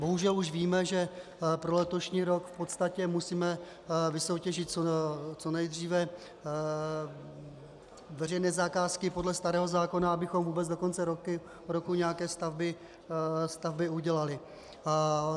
Bohužel už víme, že pro letošní rok v podstatě musíme vysoutěžit co nejdříve veřejné zakázky podle starého zákona, abychom vůbec do konce roku nějaké stavby udělali.